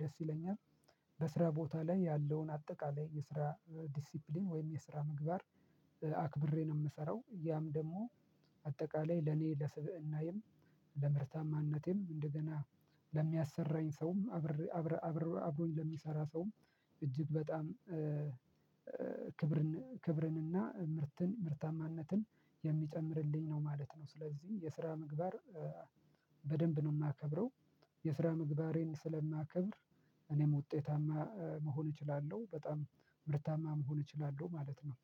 ደስ ይለኛል። በስራ ቦታ ላይ ያለውን አጠቃላይ የስራ ዲሲፕሊን ወይም የስራ ምግባር አክብሬ ነው የምሰራው ያም ደግሞ አጠቃላይ ለኔ ለስብእናዬም ለምርታማነቴም እንደገና ለሚያሰራኝ ሰውም አብሮኝ ለሚሰራ ሰውም እጅግ በጣም ክብርን ክብርንና ምርትን ምርታማነትን የሚጨምርልኝ ነው ማለት ነው ስለዚህ የስራ ምግባር በደንብ ነው የማከብረው የስራ ምግባሬን ስለማከብር እኔም ውጤታማ መሆን እችላለሁ። በጣም ምርታማ መሆን እችላለሁ ማለት ነው።